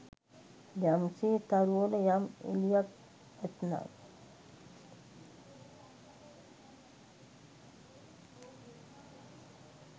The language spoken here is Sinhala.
යම් සේ තරුවල යම් එළියක් ඇත්නම්